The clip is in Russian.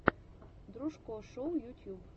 дружко шоу ютьюб